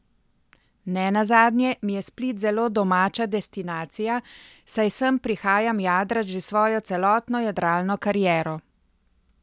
Nenazadnje mi je Split zelo domača destinacija, saj sem prihajam jadrat že svojo celotno jadralno kariero.